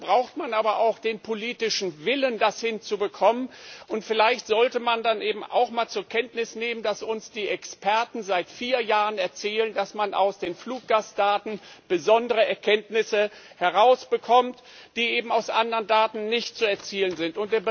Dafür braucht man aber auch den politischen Willen, das hinzubekommen, und vielleicht sollte man dann eben auch mal zur Kenntnis nehmen, dass uns die Experten seit vier Jahren erzählen, dass man aus den Fluggastdaten besondere Erkenntnisse herausbekommt, die eben mit anderen Daten nicht zu gewinnen sind.